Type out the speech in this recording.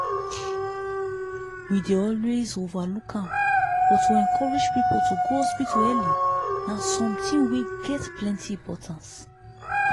we dey always overlook am but to encourage people to go hospital early na something wey get plenty importance.